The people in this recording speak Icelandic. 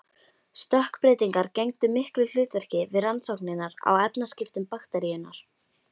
Stökkbreytingar gegndu miklu hlutverki við rannsóknir á efnaskiptum bakteríunnar.